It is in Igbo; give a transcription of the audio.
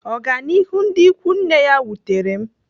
Ọganihu ndị ikwu nne ya wutere m.